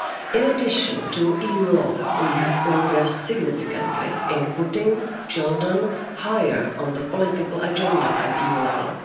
In addition to EU law, we have progressed significantly in putting children higher on the political agenda at EU level.